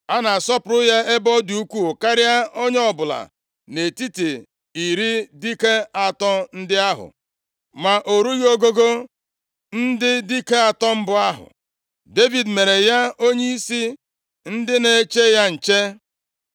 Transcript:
A na-asọpụrụ ya nʼebe ọ dị ukwuu karịa onye ọbụla nʼetiti iri dike atọ ndị ahụ, ma o rughị ogugo ndị dike atọ mbụ ahụ. Devid mere ya onyeisi ndị na-eche ya nche.